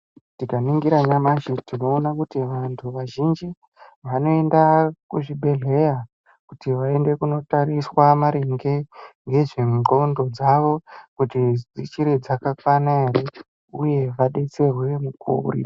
Tikaningira nyamashi tinoona kuti vantu vazhinji vanoenda kuzvibhedhlera Kuti vaende kundotatiswa maringe nezve ngonxo dzawo kuti dzichiri dzakakwananere uye vadetserwe.